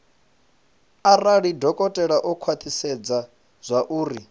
arali dokotela o khwathisedza zwauri